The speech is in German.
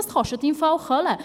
Das kostet im Fall Kohle!